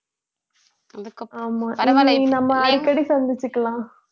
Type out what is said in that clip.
அதுக்கப்புறம் நாம அடிக்கடி சந்திச்சுக்கலாம்